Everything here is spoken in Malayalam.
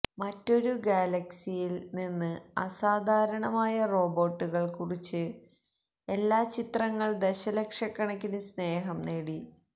മറ്റൊരു ഗാലക്സിയിൽ നിന്ന് അസാധാരണമായ റോബോട്ടുകൾ കുറിച്ച് എല്ലാ ചിത്രങ്ങൾ ദശലക്ഷക്കണക്കിന് സ്നേഹം നേടി